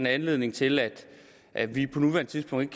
anledning til at at vi på nuværende tidspunkt